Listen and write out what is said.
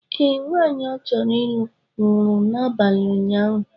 ee, nwaanyị ọchọrọ ịlụ nwụrụ n’abalị ụnyahụ